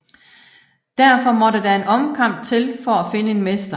Derfor måtte der en omkamp til for at finde en mester